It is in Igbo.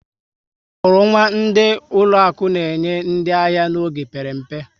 Omurunwa ndị ụlọaku na-enye ndị ahịa n'oge mpere mpe